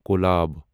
collab